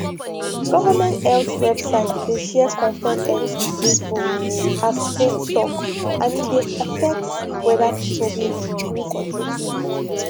government health website dey share confirmed health info as faith talk and e dey affect whether people go gree for treatment